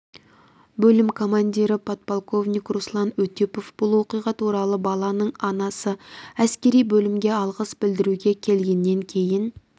бөлім командирі подполковник руслан өтепов бұл оқиға туралы баланың анасы әскери бөлімге алғыс білдіруге келгеннен кейін